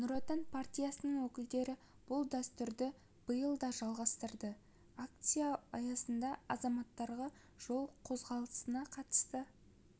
нұр отан партиясының өкілдері бұл дәстүрді биыл да жалғастырды акция аясында азаматтарға жол қозғалысына қатысты